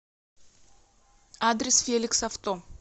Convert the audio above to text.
адрес феликс авто